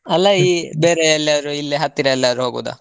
ಅಲ್ಲಾ ಈ ಬೇರೆ ಎಲ್ಲಾದರೂ ಇಲ್ಲೆ ಹತ್ತಿರ ಎಲ್ಲಾದ್ರೂ ಹೋಗೋದ?